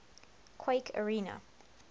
quake arena